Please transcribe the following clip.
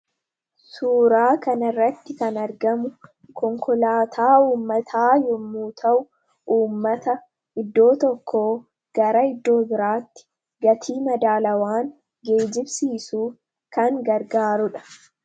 Suuraa kana irratti kan argamu konkolaataa uummataa yommuu ta'u uummata iddoo tokko gara iddoo biraatti gatii madaalawaan geejibsiisuu kan gargaarudha.